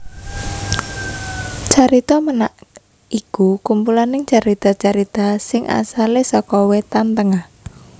Carita Ménak iku kumpulaning carita carita sing asalé saka Wétan Tengah